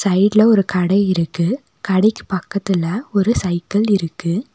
சைடுல ஒரு கட இருக்கு கடைக்கு பக்கத்துல ஒரு சைக்கிள் இருக்கு.